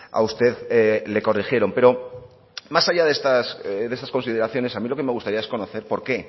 a usted le corrigieron pero más allá de estas consideraciones a mí lo que me gustaría es conocer por qué